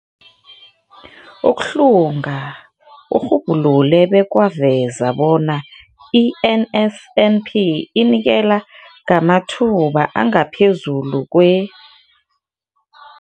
Ukuhlunga kurhubhulule bekwaveza bona i-NSNP inikela ngamathuba angaphezulu kwe-